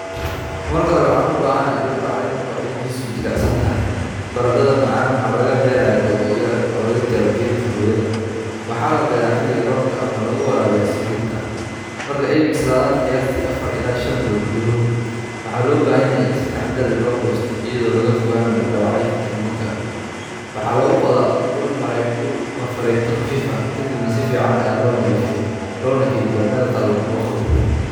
Marka hore, waxaan u baahanahay dhul bacrin ah oo ciiddiisu jilicsan tahay. Barandhada macaan waxaa laga beeraa googo' yar oo laga jaray geedka hooyada. Waxaa la beeraa xilliga roobka ama lagu waraabiyaa si joogto ah. Marka ay bislaadaan qiyaastii afaar ila shaan bilood gudahood, waxaa loo baahan yahay in si taxaddar leh loo goosto iyadoo laga fogaanayo dhaawaca tuberka. Waxaa lagu qodaa ul ama fargeeto khafiif ah, kadibna si fiican ayaa loo nadiifiyaa loona kaydiyaa meel qalalan oo qabow.